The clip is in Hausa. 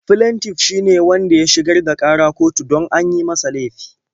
Flentif shi ne wanda ya shigar da ƙara kotu don an yi masa laifi.